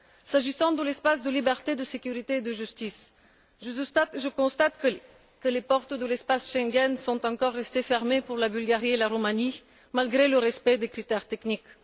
S'agissant de l'espace de liberté, de sécurité et de justice, je constate que les portes de l'espace Schengen sont encore restées fermées pour la Bulgarie et la Roumanie, malgré le respect des critères techniques.